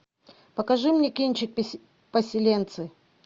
покажи мне кинчик поселенцы